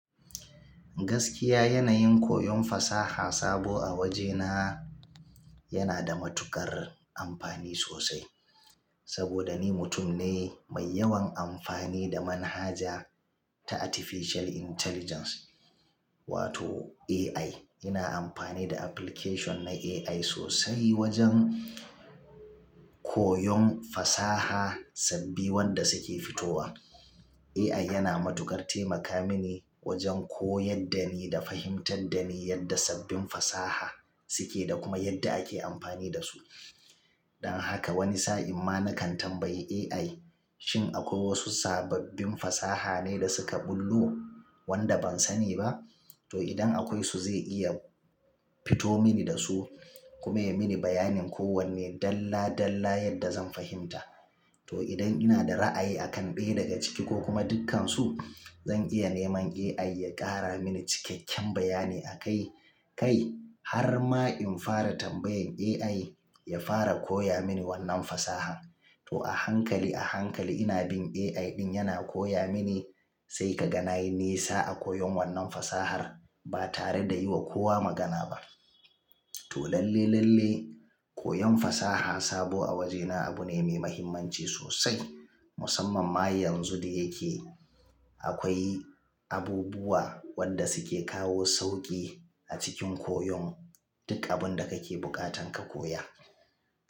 Gaskiya yanayin koyon fasaha sabo a waje na yana da matuƙar amfani sosai. Saboda ni mutum ne mai yawan amfani da manhaja ta Artificial Intelligence wato AI. Ina amfani da application na AI sosai wajen koyon fasaha sabbi wanda suke fitowa. AI yana matukar taimaka mini wajen koyar da ni da fahimtar da ni yadda sabbin fasaha suke da kuma yadda ake amfani da su. Dan haka wani sa'in ma na kan tambayi AI shin akwai wasu sababbin fasaha ne da suka bullo wanda ban sani ba? To idan akwai su zai iya fito mini da su kuma ya yi mini bayanin kowanne dalla dalla yadda zan fahimta. To idan ina da ra'ayi akan ɗaya daga ciki ko kuma dukkansu, zan iya neman AI ya ƙara mini cikakken bayani akai kai har ma in fara tambayan AI ya fara koya mini wannan fasahan. To a hankali a hankali ina bin AI ɗin yana koya mini sai ka ga na yi nisa a koyon wannan fasahar ba tare da yi wa kowa magana ba. To lalle lalle koyon fasaha sabo a wajena abu ne mai muhimmanci sosai. Musamman ma yanzu da yake akwai abubuwa wanda suke kawo sauƙi a cikin koyon duk abun da kake buƙatan ka koya.